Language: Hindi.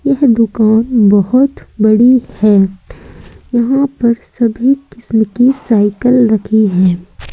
यह दुकान बहोत बड़ी हैं यहां पर सभी किस्म की साइकिल रखी हैं।